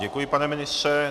Děkuji, pane ministře.